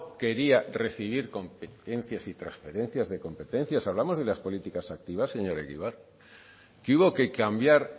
quería recibir competencias y transferencias de competencias hablamos de las políticas activas señor egibar que hubo que cambiar